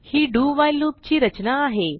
he do while loop ची रचना आहे